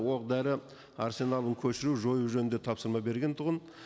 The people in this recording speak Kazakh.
оқ дәрі арсеналын көшіру жою туралы тапсырма берген тұғын